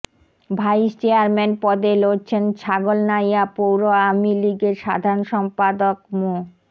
vice chairman পদে লড়ছেন ছাগলনাইয়া পৌর আওয়ামী লীগের সাধারণ সম্পাদক মো